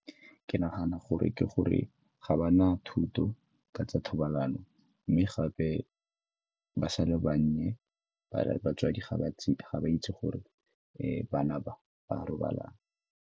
Ke nagana gore ke gore ga ba na thuto ka tsa thobalano mme gape ba sa le bannye, batsadi ga ba itse gore bana ba ba a robalana.